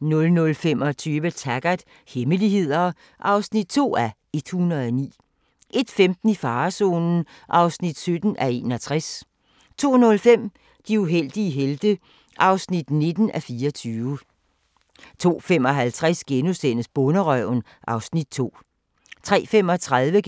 00:25: Taggart: Hemmeligheder (2:109) 01:15: I farezonen (17:61) 02:05: De uheldige helte (19:24) 02:55: Bonderøven (Afs. 2)* 03:35: